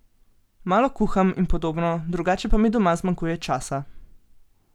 Malo kuham in podobno, drugače pa mi doma zmanjkuje časa.